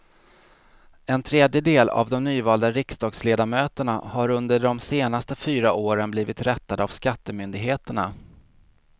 En tredjedel av de nyvalda riksdagsledamöterna har under de senaste fyra åren blivit rättade av skattemyndigheterna.